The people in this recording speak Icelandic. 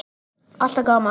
Alltaf gaman.